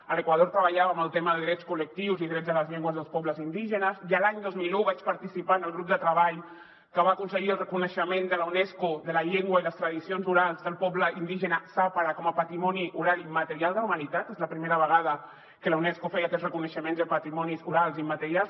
a l’equador treballàvem el tema de drets col·lectius i drets de les llengües dels pobles indígenes i l’any dos mil un vaig participar en el grup de treball que va aconseguir el reconeixement de la unesco de la llengua i les tradicions orals del poble indígena zápara com a patrimoni oral i immaterial de la humanitat és la primera vegada que la unesco feia aquest reconeixement de patrimonis orals i immaterials